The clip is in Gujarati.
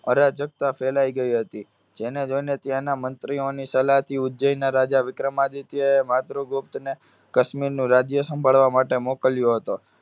અરાજકતા ફેલાય ગઈ હતી. જેને જોઇને ત્યાંના મંત્રીઓની સલાહથી ઉજ્જૈનના રાજા વિક્રમાદિત્યએ માતૃગુપ્તને કશ્મીરનું રાજ્ય સંભાળવા માટે મોકલ્યો હતો.